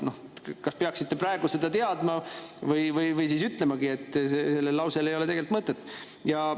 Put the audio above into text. Te kas peaksite praegu seda teadma või siis ütlema, et sellel lausel ei ole tegelikult mõtet.